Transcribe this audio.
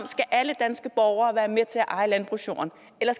alle danske borgere skal være med til at eje landbrugsjorden eller